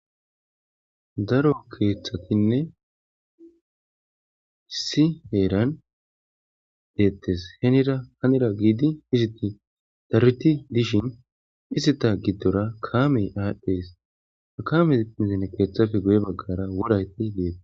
Daaro keethatinne iissi heeran deetes heenira giiddidi deetes dereti diishin izzata giidora kaame adhdhes kaame missile baagappee guyera woray des